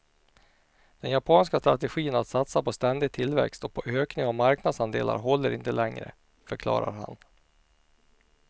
Den japanska strategin att satsa på ständig tillväxt och på ökning av marknadsandelar håller inte längre, förklarar han.